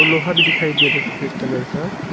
लोहा भी दिखाई दे रहा है सफेद कलर का।